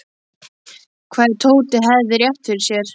Hvað ef Tóti hefði rétt fyrir sér?